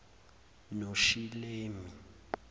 noshilemi